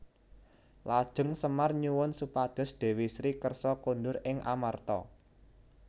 Lajeng Semar nyuwun supados Dewi Sri kersa kondur ing Amarta